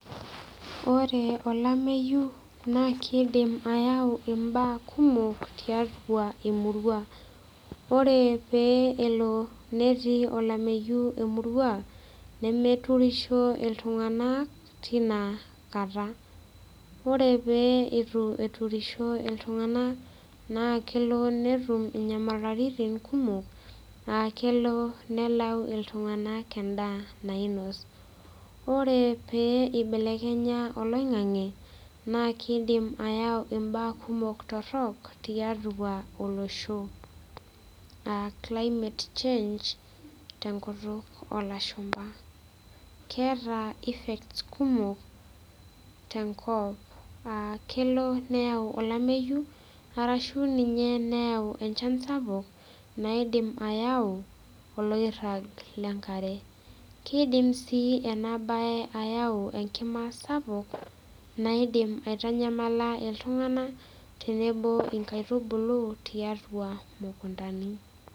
Ore olameyu naa kidim ayau imbaa kumok tiatua emurua ore pee elo netii olameyu emurua nemeturisho iltung'anak tina kata ore pee itu eturisho iltung'anak naa kelo netum inyamaliritin kumok akelo nelau iltung'anak endaa nainos ore pee ibelelkenya oloing'ang'e naa kidim ayau imbaa kumok torrok tiatua olosho aa climate change tenkutuk olashumpa keeta cs]effects kumok tenkop aa kelo neyau olamayu arashu ninye neyau enchan sapuk naidim ayau oloirrag lenkare kidim sii ena baye ayau enkima sapuk naidim aitanyamala iltung'anak tenebo inkaitubulu tiatua imukuntani.